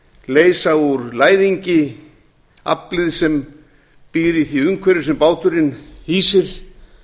leysa úr læðingi aflið sem býr í því umhverfi sem báturinn hýsir